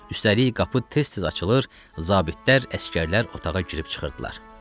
Üstəlik qapı tez-tez açılır, zabitlər, əsgərlər otağa girib çıxırdılar.